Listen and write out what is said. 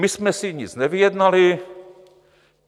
My jsme si nic nevyjednali.